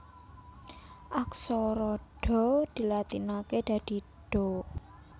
Aksara Dha dilatinaké dadi Dha